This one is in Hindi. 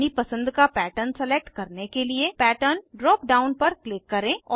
अपनी पसंद का पैटर्न सलेक्ट करने के लिए पैटर्न ड्राप डाउन पर क्लिक करें